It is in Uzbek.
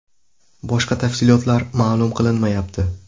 Boshqa tafsilotlar ma’lum qilinmayapti.